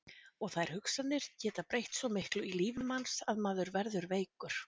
Og þær hugsanir geta breytt svo miklu í lífi manns að maður verður veikur.